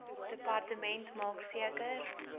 departement maak seker